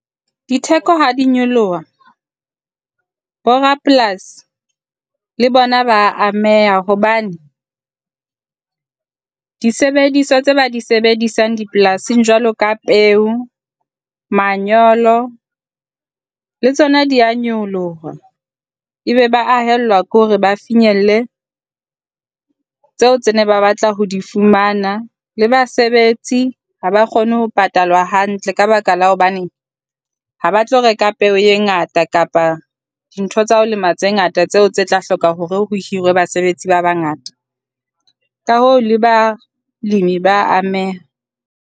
Ditheko ha di nyoloha borapolasi le bona ba ameha hobane disebediswa tseo ba di sebedisang dipolasing jwalo ka peo, manyolo le tsona di a nyoloha. Ebe ba a haellwa ke hore ba finyelle tseo tse ne ba batla ho di fumana la basebetsi ha ba kgone ho patalwa hantle ka ka la hobaneng ha ba tlo reka peo e ngata kapa dintho tsa ho lema tse ngata tseo tse tla hloka hore ho hirwe basebetsi ba bangata. Ka hoo, le balemi ba a ameha.